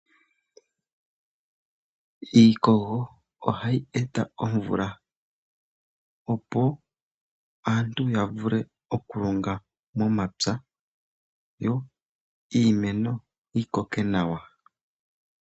Iikogo ohayi eta omvula opo aantu ya vule oku longa momapya yo iimeno yi koke nawa